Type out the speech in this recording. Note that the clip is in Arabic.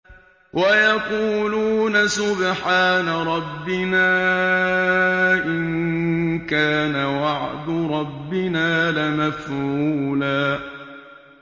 وَيَقُولُونَ سُبْحَانَ رَبِّنَا إِن كَانَ وَعْدُ رَبِّنَا لَمَفْعُولًا